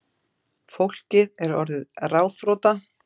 Fólkið er orðið ráðþrota